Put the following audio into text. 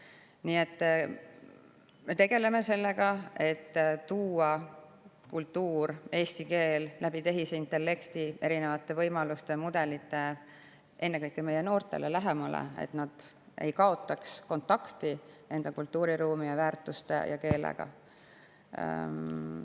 Nii et me tegeleme sellega, et tuua kultuur ja eesti keel tehisintellekti erinevate võimaluste ja mudelite abil ennekõike meie noortele lähemale, et nad ei kaotaks kontakti enda kultuuriruumi, väärtuste ja keelega.